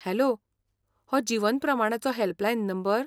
Hello! हो जीवन प्रमाणाचो हॅल्पलायन नंबर?